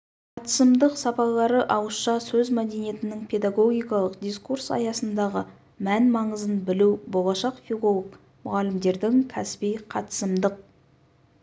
қатысымдық сапалары ауызша сөз мәдениетінің педагогикалық дискурс аясындағы мән-маңызын білу болашақ филолог мұғалімдердің кәсіби қатысымдық